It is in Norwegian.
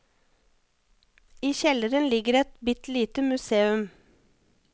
I kjelleren ligger et bitte lite museum.